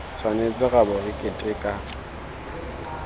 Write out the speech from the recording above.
tshwanetse ra bo re keteka